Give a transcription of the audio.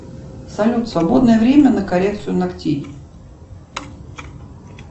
салют свободное время на коррекцию ногтей